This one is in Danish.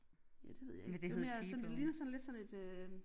Ja det ved jeg ikke det er mere sådan det ligner sådan lidt sådan et øh